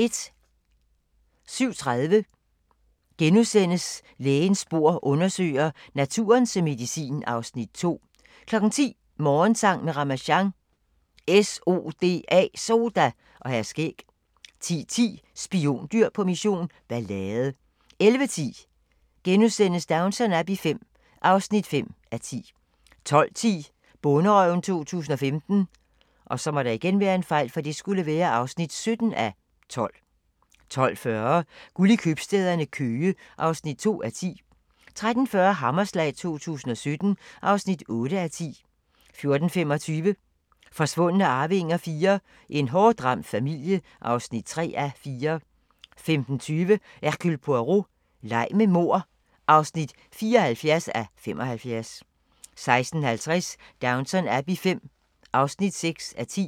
07:30: Lægens bord undersøger: Naturen som medicin (Afs. 2)* 10:00: Morgensang med Ramasjang | SODA og Hr. Skæg 10:10: Spiondyr på mission – ballade 11:10: Downton Abbey V (5:10)* 12:10: Bonderøven 2015 (17:12) 12:40: Guld i købstæderne - Køge (2:10) 13:40: Hammerslag 2017 (8:10) 14:25: Forsvundne arvinger IV: En hårdt ramt familie (3:4) 15:20: Hercule Poirot: Leg med mord (74:75) 16:50: Downton Abbey V (6:10)